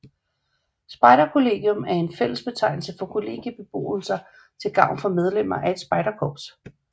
Spejderkollegium er en fællesbetegnelse for kollegiebeboelser til gavn for medlemmer af et spejderkorps